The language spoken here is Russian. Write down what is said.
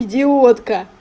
идиотка